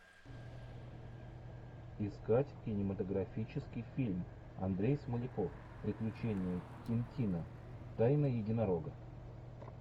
искать кинематографический фильм андрей смоляков приключения тинтина тайна единорога